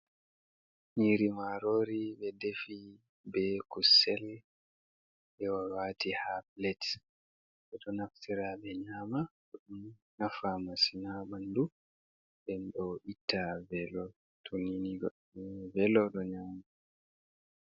Nyiri marori, ɓe defi be kusel, ɓe waati haa plet. Ɓe ɗo naftira ɓe nyama, bo ɗon nafa masin haa ɓandu nden ɗo itta velo, tonini goɗɗo nani velo ɗo nyaama.